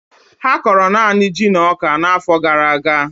Ha kọrọ naanị ji na ọka n'afọ gara aga